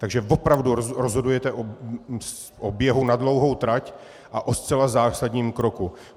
Takže opravdu rozhodujete o běhu na dlouhou trať a o zcela zásadním kroku.